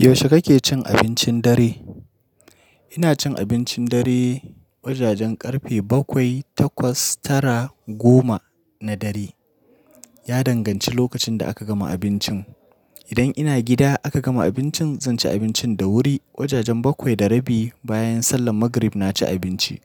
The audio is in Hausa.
Yaushe kake cin abincin dare? Ina cin abincin dare wajajen ƙarfe bakwai, takwas, tara, goma na dare. Ya danganci lokacin da aka gama abincin. Idan ina gida aka gama abincin, zan ci abincin da wuri. Wajajen bakwai da rabi bayan sallar magrib na ci abinci.